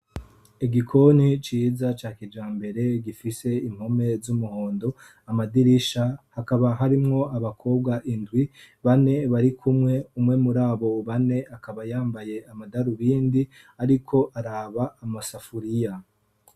igikoni ciza ca kijambere gifise impome zumuhondo amadirisha hakaba harimwo abakobwa indwi bane bari kumwe umwe muri abo bane akaba yambaye amadarubindi ariko araba amasafuriya